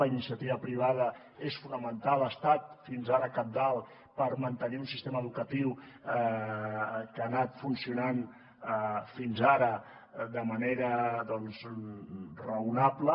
la iniciativa privada és fonamental ha estat fins ara cabdal per mantenir un sistema educatiu que ha anat funcionant fins ara de manera doncs raonable